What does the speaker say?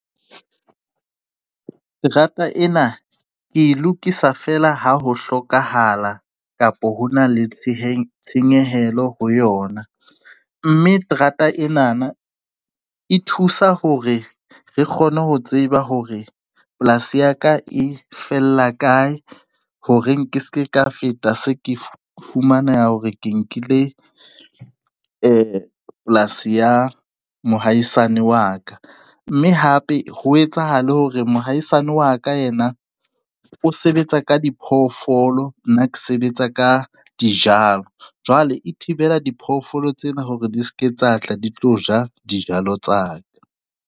Terata ena ke e lokisa fela ha ho hlokahala kapa hona le tshenyehelo ho yona, mme terata ena na e thusa hore re kgone ho tseba hore polasi ya ka e fella kae horeng ke se ke ka feta se ke fumaneha hore ke nkile polasi ya mohaisane wa ka, mme hape ho etsahala hore mohaisane wa ka yena o sebetsa ka diphoofolo nna ke sebetsa ka jalo jwale e thibela diphoofolo tsena hore di se ke tsa tla di tlo ja dijalo tsa ka.